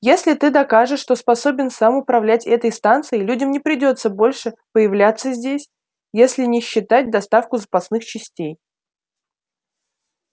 если ты докажешь что способен сам управлять этой станцией людям не придётся больше появляться здесь если не считать доставку запасных частей